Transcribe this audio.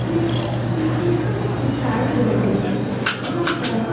ये चित्र चिपकाए गए हैं। यहाँ पर --